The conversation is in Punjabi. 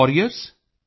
gov